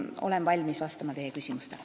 Olen valmis vastama teie küsimustele.